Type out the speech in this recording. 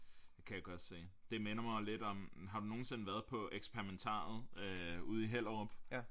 Kan jeg godt se det minder mig lidt om har du nogensinde været på eksperimentariet øh ude i Hellerup?